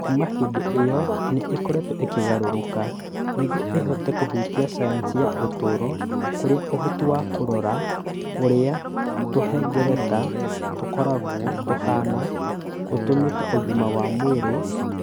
.Kuuma hĩndĩ ĩyo nĩ ĩkoretwo ĩkĩgarũrũka nĩguo ĩhote kũhutia sayansi ya ũtũũro, kũrĩa ũhoti wa kũrora ũrĩa tũhengereta tũkoragwo tũhaana ũtũmĩte ũgima wa mwĩrĩ